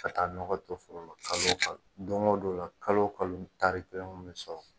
Ka taa nɔgɔ don foro lɔ kalo o kalo, don ko don o la, kalo kalo taari kelen kun mɛ sɔrɔ